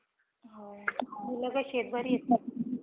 Kanchana four